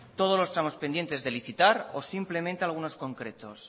todos los tramos pendientes de licitar o simplemente algunos concretos